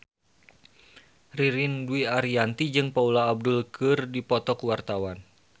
Ririn Dwi Ariyanti jeung Paula Abdul keur dipoto ku wartawan